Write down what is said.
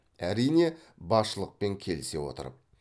әрине басшылықпен келісе отырып